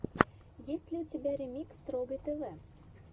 есть ли у тебя ремикс торгай тв